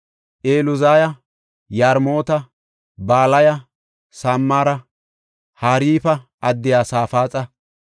Eluzaya, Yarmoota, Balaya, Samara, Harifa addiya Safaaxa,